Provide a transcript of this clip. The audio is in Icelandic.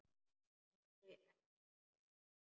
Eins og ekkert sé!